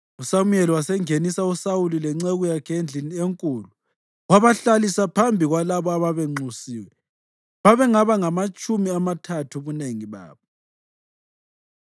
USamuyeli wasengenisa uSawuli lenceku yakhe endlini enkulu wabahlalisa phambi kwalabo ababenxusiwe babengaba ngamatshumi amathathu ubunengi babo.